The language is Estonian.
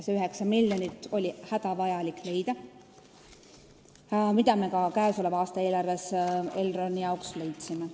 See 9 miljonit oli hädavajalik leida, selle me käesoleva aasta eelarves Elroni jaoks ka leidsime.